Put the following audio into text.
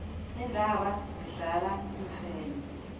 iintaba zihlala iimfene